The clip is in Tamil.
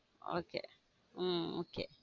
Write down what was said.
okay உம் okay